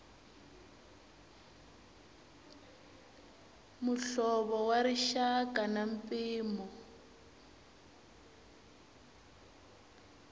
muhlovo wa rixaka na mpimo